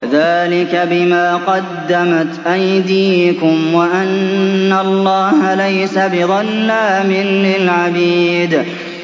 ذَٰلِكَ بِمَا قَدَّمَتْ أَيْدِيكُمْ وَأَنَّ اللَّهَ لَيْسَ بِظَلَّامٍ لِّلْعَبِيدِ